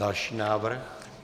Další návrh.